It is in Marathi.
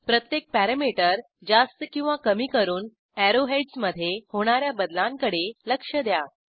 प्रत्येक पॅरॅमीटर जास्त किंवा कमी करून अॅरो हेडस मधे होणा या बदलांकडे लक्ष द्या